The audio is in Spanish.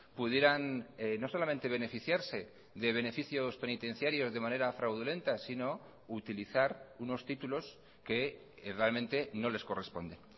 pudieran no solamente beneficiarse de beneficios penitenciarios de manera fraudulenta sino utilizar unos títulos que realmente no les corresponde